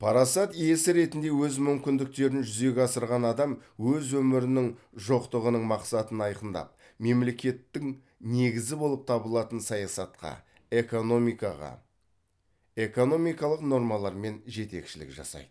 парасат иесі ретінде өз мүмкіндіктерін жүзеге асырған адам өз өмірінің жоқтығының мақсатын айқындап мемлекеттің негізі болып табылатын саясатқа экономикаға экономикалық нормалармен жетекшілік жасайды